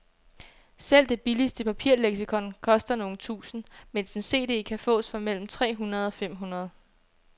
Selv det billigste papirleksikon koster nogle tusinde, mens en cd kan fås for mellem tre hundrede og fem hundrede.